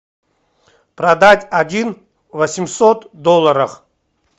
продать один восемьсот долларов